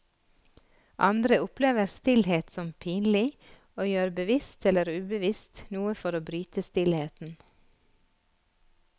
Andre opplever stillhet som pinlig, og gjør bevisst eller ubevisst noe for å bryte stillheten.